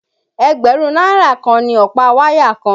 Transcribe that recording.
Ẹgbẹ̀rún náírà kan ni ọ̀pá wáyà kan